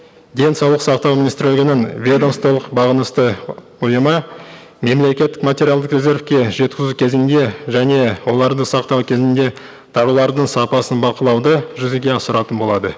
денсаулық сақтау министрлігінің ведомстволық бағынысты өнімі мемлекеттік материалдық резервке жеткізу кезінде және оларды сақтау кезінде тауарлардың сапасын бақылауды жүзеге асыратын болады